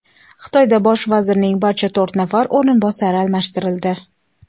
Xitoyda bosh vazirning barcha to‘rt nafar o‘rinbosari almashtirildi.